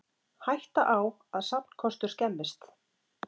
Hætta á að safnkostur skemmist